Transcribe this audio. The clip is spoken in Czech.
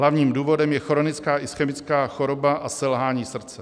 Hlavním důvodem je chronická ischemická choroba a selhání srdce.